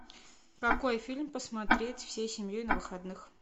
какой фильм посмотреть всей семьей на выходных